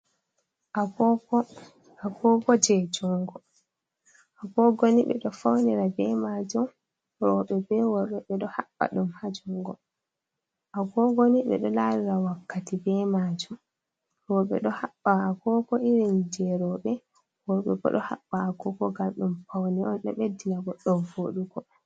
"Agogo"Agogo je jungo agogo ni ɓeɗo faunira ɓe majum roɓe be worɓe ɓeɗo haɓɓa ɗum ha jungo agogo ni ɓeɗo larira wakkati ɓe majum roɓe ɗo haɓɓa agogo irum je roɓe worɓe ɗo haɓɓa agogo ngam ɗum faune on ɗum ɓeɗɗina goɗɗo voɗugo.